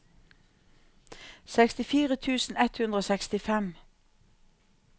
sekstifire tusen ett hundre og sekstifem